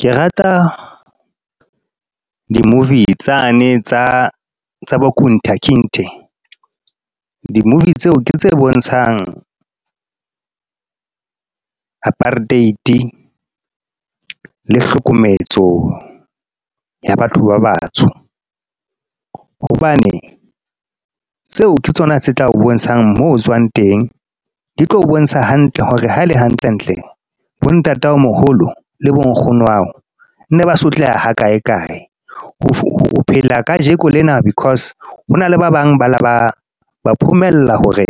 Ke rata, di-movie tsane tsa, tsa . Di-movie tseo ke tse bontshang apartheid, le hlokometso, ya batho ba batsho. Hobane, tseo ke tsona tse tlao bontshang mo tswang teng. Di tlo o bontsha hantle hore ha e le hantlentle bo ntataomoholo, le bo nkgono wa hao. Ne ba sotleha ha kae kae. O phela ka jekolena because hona le ba bang bale ba ba hore